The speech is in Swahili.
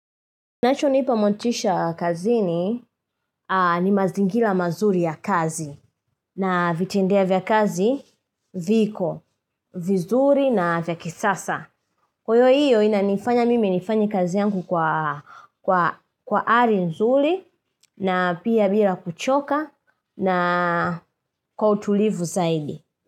Kinachonipa motisha kazini ni mazingira mazuri ya kazi na vitendea vya kazi viko, vizuri na vya kisasa. Kwa hiyo inanifanya mimi nifanye kazi yangu kwa ari nzuri na pia bila kuchoka na kwa utulivu zaidi.